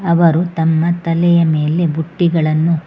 ಅವರು ತಮ್ಮ ತಲೆಯ ಮೇಲೆ ಬುಟ್ಟಿಗಳನ್ನು--